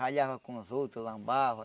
Ralhava com os outros, lambava.